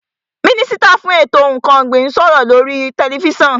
Mínísítà fún ètò ǹkan ọ̀gbìn ń sọ̀rọ̀ ní oríi tẹlifísàn